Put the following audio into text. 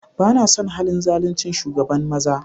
Ba na son halin zaluncin shugaban maza.